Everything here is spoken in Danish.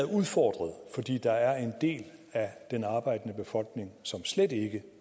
udfordret fordi der er en del af den arbejdende befolkning som slet ikke